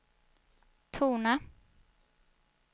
tona